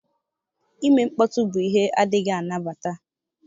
Ime mkpọtụ bụ ihe adịghị anabata.